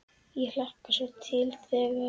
Ég hlakkar svo til þegar.